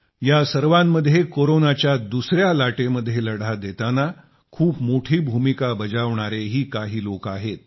या सर्वांमध्ये कोरोनाच्या दुसया लाटेमध्ये लढा देताना खूप मोठी भूमिका बजावणारेही काही लोक आहेत